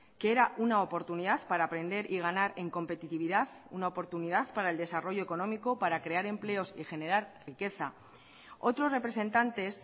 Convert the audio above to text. que era una oportunidad para aprender y ganar en competitividad una oportunidad para el desarrollo económico para crear empleos y generar riqueza otros representantes